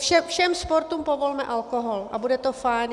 Všem sportům povolme alkohol a bude to fajn.